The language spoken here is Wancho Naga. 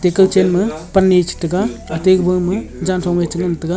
e kawchenme pan nyi chitai taiga ate kuba ma jangthong wai chengan taiga.